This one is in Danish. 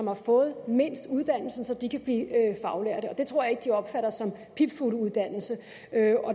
har fået mindst uddannelse så de kan blive faglærte det tror jeg ikke de opfatter som pipfugleuddannelse